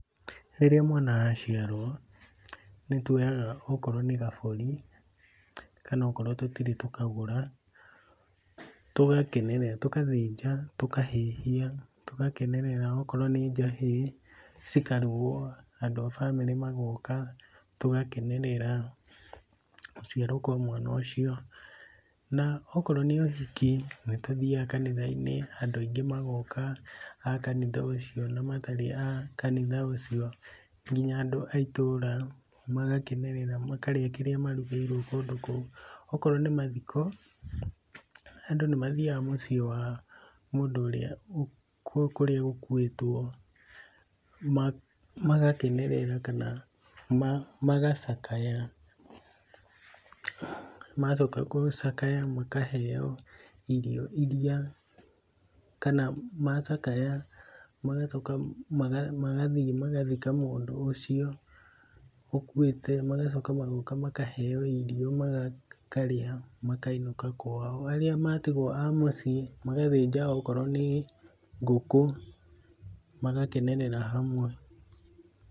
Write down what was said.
Rĩrĩa mwana aciarwo, nĩtuoyaga okorwo nĩ gabũri kana okorwo tũtirĩ tũkagũra, tũgakenerera, tũgathĩnja tũhahĩhia tũgakenerera okorwo nĩ njahĩ cikarugũo andũ a bamĩrĩ magoka, tũgakenerera gũciarwo kwa mwana ũcio, na okorwo nĩ ũhiki nĩtũthiaga kanitha-inĩ andũ aingĩ magoka a kanitha ũcio na matarĩ a kanitha ũcio, nginya andũ a itũra magakenerera makarĩa kĩrĩa marugĩirwo kũndũ kũu. Okorwo nĩ mathiko, andũ nĩmathiaga mũciĩ wa mũndũ ũrĩa kũrĩa gũkuĩtwo magakenerera kana magacakaya, macoka gũcakaya makaheo irio iria kana macakaya magacoka magathiĩ magathika mũndũ ũcio ũkuĩte. Magacoka magoka makaheo irio makarĩa makainũka kwao. Arĩa matigwo a mũciĩ magathĩnja okorwo nĩ ngũkũ magakenerera hamwe.